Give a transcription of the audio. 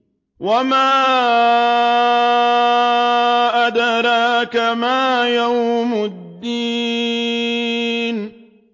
وَمَا أَدْرَاكَ مَا يَوْمُ الدِّينِ